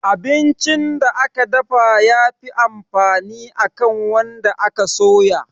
Abincin da aka dafa ya fi amfani akan wanda aka soya